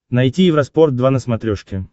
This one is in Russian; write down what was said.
найти евроспорт два на смотрешке